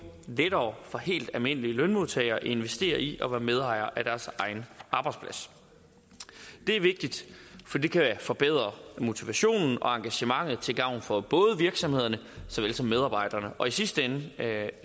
lettere for helt almindelige lønmodtagere at investere i og være medejer af deres egen arbejdsplads det er vigtigt for det kan forbedre motivationen og engagementet til gavn for både virksomheder og medarbejdere og i sidste ende